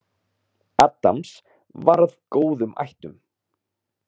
Addams var af góðum ættum.